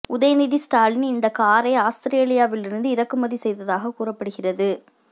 உதயநிதி ஸ்டாலின் இந்தக் காரை ஆஸ்திரேலியாவிலிருந்து இறக்குமதி செய்ததாக கூறப்படுகிறது